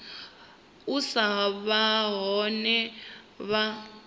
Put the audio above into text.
u sa vha hone ha